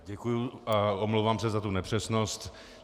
Děkuji a omlouvám se za tu nepřesnost.